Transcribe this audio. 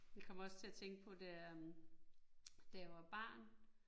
Jeg kommer også til at tænke på da øh da jeg var barn